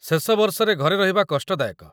ଶେଷ ବର୍ଷରେ ଘରେ ରହିବା କଷ୍ଟ ଦାୟକ।